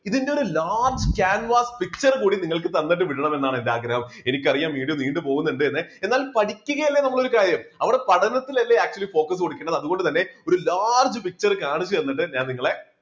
ഇതിന്റെ ഒരു large canvas picture കൂടി നിങ്ങൾക്ക് തന്നിട്ട് വിടണം എന്നാണ് എൻറെ ആഗ്രഹം. എനിക്കറിയാം video നീണ്ടു പോകുന്നുണ്ട് എന്ന് എന്നാൽ പഠിക്കുകയല്ലേ നമ്മൾ ഒരു കാര്യം അവിടെ പഠനത്തിനല്ലേ actually focus കൊടുക്കേണ്ടത് അതുകൊണ്ടുതന്നെ ഒരു large picture കാണിച്ചു തന്നിട്ട് ഞാൻ നിങ്ങളെ